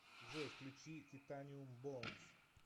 джой включи титаниум боунс